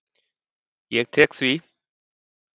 Ég tek því.